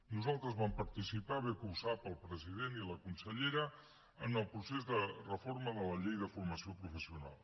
nosaltres vam participar bé que ho sap el president i la consellera en el procés de reforma de la llei de formació professional